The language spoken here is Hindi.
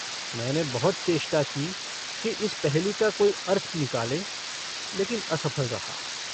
मैंने बहुत चेष्टा की कि इस पहेली का कोई अर्थ निकालें लेकिन असफल रहा।